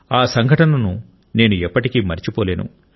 ఆ సంఘటనను నేను ఎప్పటికీ మరచిపోలేను